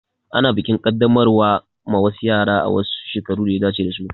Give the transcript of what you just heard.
Ana bikin Kaddamarwa ma wasu yara a wasu shekaru daya dace dasu